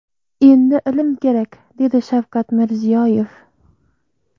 Endi ilm kerak”, dedi Shavkat Mirziyoyev.